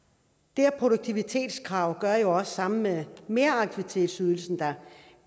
det her produktivitetskrav gør jo også sammen med meraktivitetsydelsen at